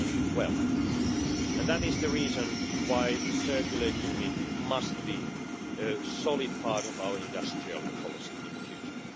2012. That is the reason why the circular economy must be a solid part of our industrial policy in the future.